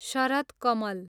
शरद कमल